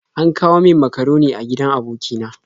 An kawo min makaroni a gidan aboki na.